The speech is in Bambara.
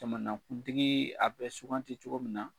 Jamanakuntigii, a bɛ suganti cogo min na